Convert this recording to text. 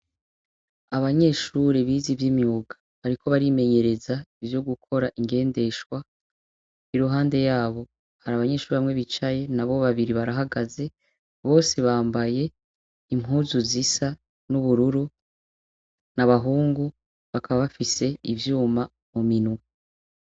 Abanyeshure bize iy'imyuga bariko barimenyereza ivyo gukora ingendeshwa. Iruhande yabo hari abanyeshure bamwe bicaye n'abo babiri barahagaze, bose bambaye impuzu zisa n'ubururu n'abahungu bakaba bafise ibyuma mu minwe.